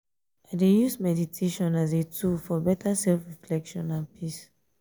i dey use meditation as a tool for better self-reflection and peace.